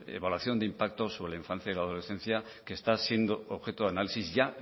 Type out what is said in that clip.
evaluación de impacto sobre la infancia y la adolescencia que está siendo objeto de análisis ya